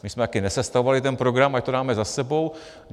My jsme také nesestavovali ten program, ať to dáme za sebou.